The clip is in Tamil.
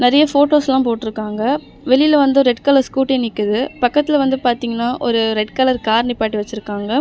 நெறைய ஃபோட்டோஸ்லாம் போட்ருக்காங்க வெளில வந்து ரெட் கலர் ஸ்கூட்டி நிக்குது பக்கத்துல வந்து பாத்தீங்கன்னா ஒரு ரெட் கலர் கார் நிப்பாட்டி வெச்சிருக்காங்க.